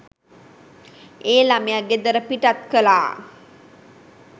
ඒ ළමය ගෙදර පිටත් කළා